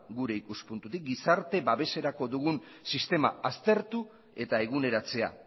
gure ikuspuntutik gizarte babeserako dugun sistema aztertu eta eguneratzea